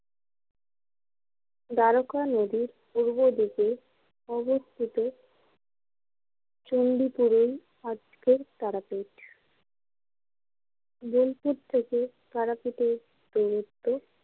দ্বারকা নদীর পূর্বদিকে অবস্থিত চণ্ডীপুরোই আজকের তারাপীঠ বোলপুর থেকে তারাপীঠের দুরত্ব।